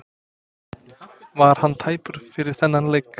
Var hann tæpur fyrir þennan leik?